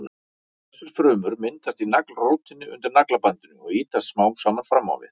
Þessar frumur myndast í naglrótinni undir naglabandinu og ýtast smám saman fram á við.